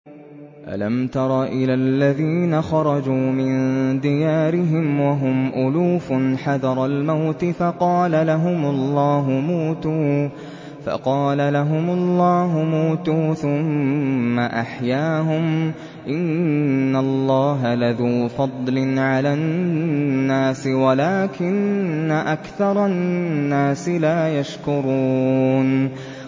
۞ أَلَمْ تَرَ إِلَى الَّذِينَ خَرَجُوا مِن دِيَارِهِمْ وَهُمْ أُلُوفٌ حَذَرَ الْمَوْتِ فَقَالَ لَهُمُ اللَّهُ مُوتُوا ثُمَّ أَحْيَاهُمْ ۚ إِنَّ اللَّهَ لَذُو فَضْلٍ عَلَى النَّاسِ وَلَٰكِنَّ أَكْثَرَ النَّاسِ لَا يَشْكُرُونَ